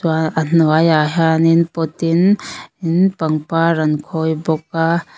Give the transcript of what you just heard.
a hnuaiah hian in in pot in pangpar an khawi bawk a.